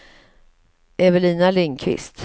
Evelina Lindqvist